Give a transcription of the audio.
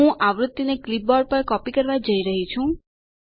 હું આવૃત્તિ ને ક્લિપબોર્ડ પર કોપી કરવા જઈ રહી છું